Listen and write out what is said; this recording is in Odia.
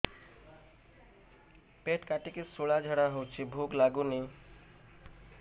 ପେଟ କାଟିକି ଶୂଳା ଝାଡ଼ା ହଉଚି ଭୁକ ଲାଗୁନି